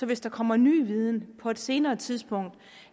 hvis der kommer ny viden på et senere tidspunkt